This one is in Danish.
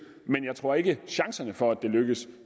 men jeg tror ikke at chancerne for at det lykkes